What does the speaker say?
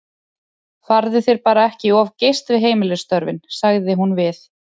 Farðu þér bara ekki of geyst við heimilisstörfin, sagði hún við